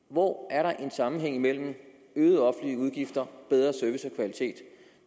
hvor er der en sammenhæng mellem øgede offentlige udgifter og bedre service